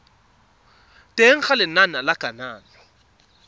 teng ga lenane la kananyo